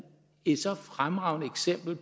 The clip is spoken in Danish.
et så fremragende eksempel